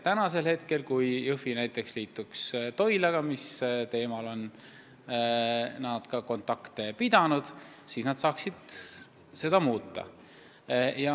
Kui Jõhvi näiteks liituks praegu Toilaga – sel teemal on neil kontakte olnud –, siis nad saaksid seda staatust muuta.